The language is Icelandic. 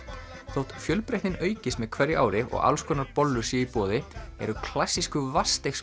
þótt fjölbreytnin aukist með hverju ári og alls konar bollur séu í boði eru klassísku